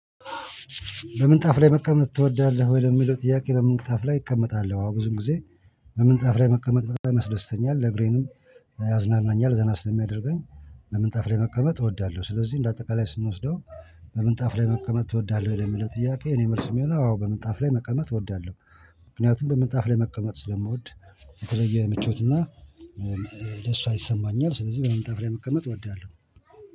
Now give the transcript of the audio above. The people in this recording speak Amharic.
በምንጣፍ ላይ መቀመጥ ትወዳለህ? ወይ ለሚለው ጥያቄ በምንጣፍ ላይ እቀመጣለሁ አዎ ብዙ ጊዜ። በምንጣፍ ላይ መቀመጥ በጣም ያስደስተኛል ለእግሬንም ያዝናናኛል ዘና ስለሚያደርገኝ። በምንጣፍ ላይ መቀመጥ እወዳለሁ። ስለዚህ እንደ አጠቃላይ ስንወስደው በምንጣፍ ላይ መቀመጥ ትወዳለህ? ለሚለው ጥያቄ እኔ መልስ የሚሆነው አዎ በምጣፍ ላይ መቀመጥ እወዳለሁ። ምክንያቱም በምጣፍ ላይ መቀመጥ ስለምወድ። የተለየ ምቾትና ደስታ ይሰማኛል። ስለዚህ በምንጣፍ ላይ መቀመጥ እወድሃለሁ